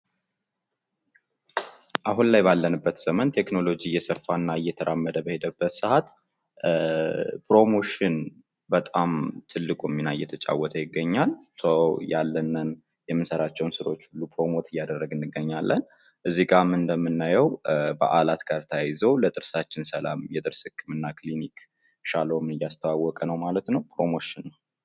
አሁን ላይ ባለንበት ዘመን ቴክኖሎጂ እየሰፋና እየተራመደ በሄደበት ሰዓት ፕሮሞሽን በጣም ትልቁን ሚና እየተጫወተ ይገኛል። ያለንን የምንሰራቸውን ስራወች ሁሉ ፕሮሞት እያደረግን እንገኛለን። እዚጋም እንደምናየው በዓላት ጋር ተያይዞ ለጥርሳችን ሰላም የጥርስ ህክምና ክሊኒክ ሻሎም እያስተዋወቀ ነው ማለት ነው። ፕሮሞሽን!